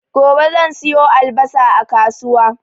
Gobe zan siyo albasa a kasuwa